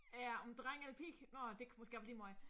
Er en dreng eller pige nå ej det kan måske også være ligemeget